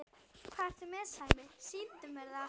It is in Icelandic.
Hvað ertu með Sæmi, sýndu mér það!